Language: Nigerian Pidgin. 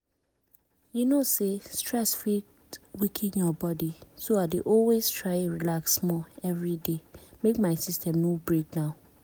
see i dey take multivitamin every day. i mean e dey help me cover those small-small nutrient wey my food no dey give